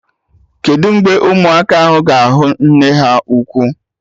Kedụ mgbe ụmụaka ahụ ga-ahụ nne ha ukwu?